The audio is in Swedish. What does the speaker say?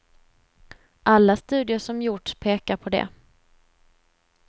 Alla studier som gjorts pekar på det.